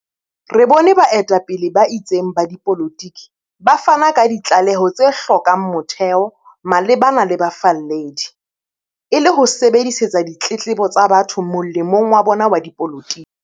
Re bone baetapele ba itseng ba dipolotiki ba fana ka ditlaleho tse hlo kang motheo malebana le bafalledi, e le ho sebedisetsa ditletlebo tsa batho molemong wa bona wa dipolotiki.